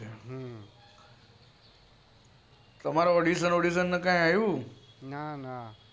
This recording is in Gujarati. તમારે audition નું એવું કૈક આવ્યું ના ના